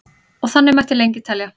og þannig mætti lengi telja